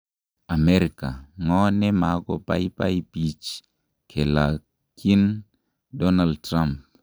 Amerika:Ng'o ne ma ko baibai bich kilakyin Donald Trump?